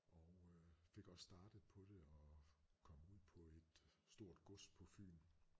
Og øh fik også startet på det og kom ud på et stort gods på Fyn